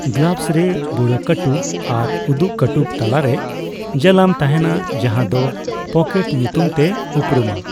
Gloves ᱨᱮ ᱵᱩᱲᱟᱹ ᱠᱟᱹᱴᱩᱵ ᱟᱨ ᱩᱫᱩᱜ ᱠᱟᱹᱴᱩᱵ ᱛᱟᱞᱟᱨᱮ ᱡᱟᱞᱟᱢ ᱛᱟᱦᱮᱱᱟ, ᱡᱟᱦᱟᱸ ᱫᱚ ᱯᱚᱠᱮᱴ ᱧᱩᱛᱩᱢ ᱛᱮ ᱩᱯᱨᱩᱢᱟ ᱾